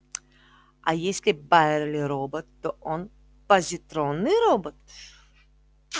а если байерли робот то он позитронный робот